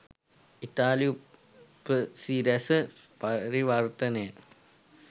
ඉතාලි උපසිරැස පරිවර්තනය.